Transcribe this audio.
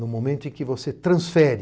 No momento em que você transfere